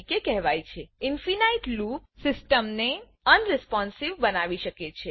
infinite loop infinite સીસ્ટમને unresponsive unresponsive બનાવી શકે છે